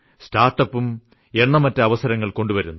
സ്റ്റാർട്ട്അപ്പും എണ്ണമറ്റ അവസരങ്ങൾ കൊണ്ടുവരുന്നു